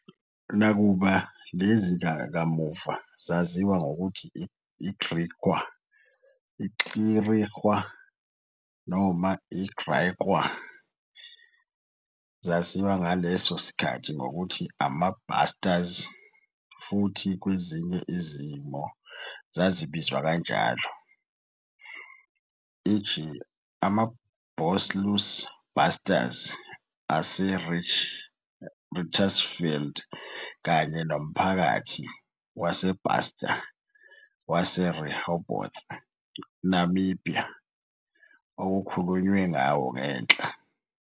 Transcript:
Nakuba lezi kamuva zaziwa ngokuthi i-Griqua, i-Xirikua noma i-Griekwa, zaziwa ngaleso sikhathi ngokuthi "Ama-Basters" futhi kwezinye izimo zisabizwa kanjalo, e. g., amaBosluis Basters aseRichtersveld kanye nomphakathi waseBaster waseRehoboth, Namibia, okukhulunywe ngawo ngenhla.